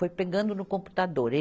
Foi pegando no computador.